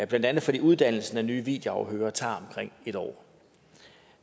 blandt andet fordi uddannelsen af nye videoafhørere tager omkring en år